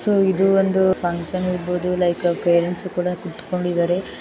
So ಇದು ಒಂದು function ಇರಬಹುದು ಲೈಕ್ ಪೇರೆಂಟ್ಸ್ ಕೂಡ ಕೂತ್ಕೊಂಡಿದ್ದರೆ.